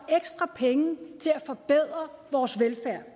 ekstra penge til at forbedre vores velfærd